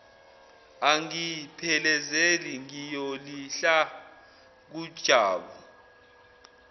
angiphelezele ngiyozilahla kujabu